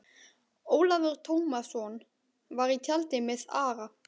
Ólafur Tómasson var í tjaldi með Ara.